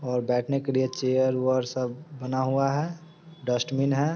और बैठने के लिए चेयर उअर सब बना हुआ है डस्ट्बिन है ।